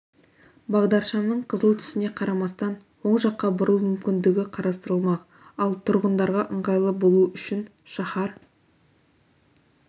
бағдаршамның қызыл түсіне қарамастан оң жаққа бұрылу мүмкіндігі қарастырылмақ ал тұрғындарға ыңғайлы болуы үшін шаһар